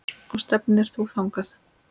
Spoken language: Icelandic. Og stefnir þú þangað?